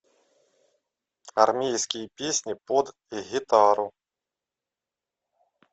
армейские песни под гитару